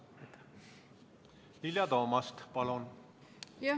Vilja Toomast, palun!